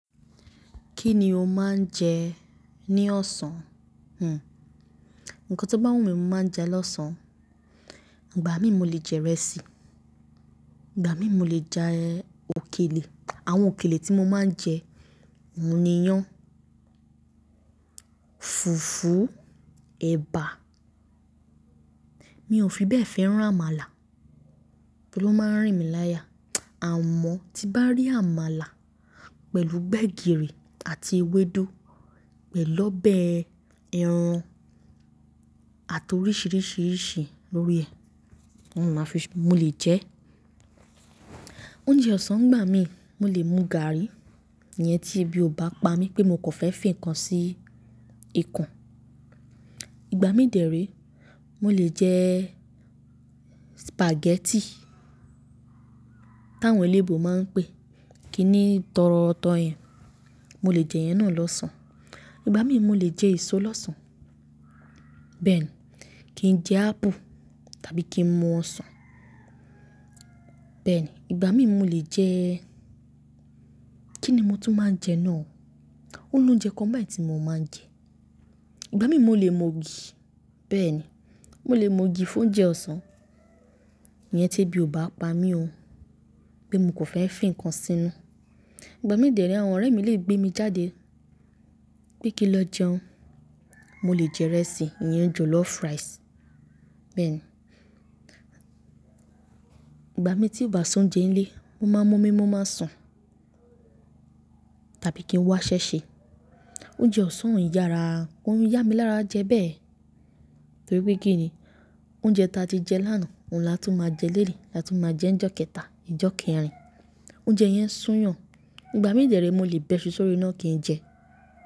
Kí ni o máa ń jẹ ní ọ̀sán? Hmm. Ǹkan tó bá wù mí, mo máa ń jẹ á lọ́sàn. Ìgbà mí mo lè jẹ ìrẹsì, ìgbà mí mo lè jẹ òkèlè, àwọn òkèlè tí mo máa ń jẹ, òòmúniyán, fùfú, ẹ̀bà. Mi ò fi bẹ́ẹ̀ fẹ́ràn àmàlà, bí ó máa ń rìn mí láya. Àmọ́ tí bá rí àmàlà pẹ̀lú gbegiri àti ewédú pẹ̀lú ọbẹ̀ ẹran àti oríṣìíríṣìí lórí ẹ̀, òun ma fi mo lè jẹ ẹ́. Oúnjẹ ọ̀sán ngbà mí, mo lè mu gààrí ìyẹn tí ebí o bá pa mí pé mo kò fẹ́ fi nǹkan sí i ikùn. Ìgbà mí dèré, mo lè jẹ spaghetti táwọn eléebù máa ń pè é, kí ni tọrọ tọ yẹn, mo lè jẹ yẹn náà lọ́sàn. Ìgbà mí mo lè jẹ èso lọ́sàn. Bẹ́ẹ̀ ni, kí n jẹ ápù tàbí kí n mu ọsàn. Bẹ́ẹ̀ ni, ìgbà mí mo lè jẹ́, kí ni mo tún máa ń jẹ náà o? Ó lóúnjẹ kan báyìí tí mo máa ń jẹ. Ìgbà mí mo lè mu ògì, bẹ́ẹ̀ ni, mo lè mu ògì fún oúnjẹ ọ̀sán ìyẹn tí ebí o bá pa mí ó, pé mo kàn fẹ́ fi nǹkan sínu. Ìgbà mí dèré àwọn ọ̀rẹ́ mi lè gbé mi jáde pé kí n lọ jẹun, mo lè jẹ ìrẹsì yẹn ju lọ rice. Bẹ́ẹ̀ ni, ìgbà mí tí bàá sóúnjẹ́ ńlẹ̀, mo máa ń mú omí mo máa sùn tàbí kí n wá ṣẹ́ṣẹ. Oúnjẹ ọ̀sán o n yára, kó ń yá mi lára jẹ bẹ́ẹ̀ torí pé kí ni, oúnjẹ ta tí jẹ lánàá, òun la tó máa jẹ léni, la tún máa jẹ njọ́ kẹta, ọjọ́ kẹrin. Oúnjẹ yẹn n sún yàn. Ìgbà mí dè rèé mo lè bẹ́ṣu sórí iná kí n jẹ ẹ́.